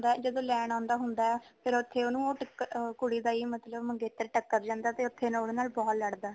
ਜਦੋਂ ਲੈਣ ਆਉਦਾ ਹੁੰਦਾ ਫ਼ਿਰ ਉਥੇ ਉਹਨੂੰ ਉਹ ਟ ਕੁੜੀ ਦਾ ਹੀ ਮਤਲੱਬ ਮੰਗੇਤਰ ਟੱਕਰ ਜਾਂਦਾ ਤੇ ਉਹਦੇ ਨਾਲ ਬਹੁਤ ਲੜਦਾ